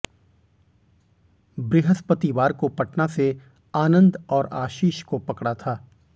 बृहस्पतिवार को पटना से आनंद और आशीष को पकड़ा था